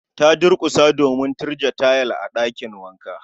Ta durkusa a kasa domin gurje tayil a ɗakin wanka